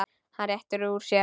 Hann réttir úr sér.